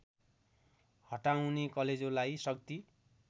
हटाउने कलेजोलाई शक्ति